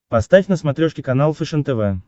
поставь на смотрешке канал фэшен тв